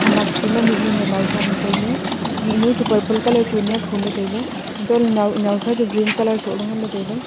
nak chu ema mihnu nyi a naosa nyi tailey mihnu ei chu purple colour churni akho ley tailey hatoh lahley nio naosa ei chu green colour soh ley ngan ley tailey.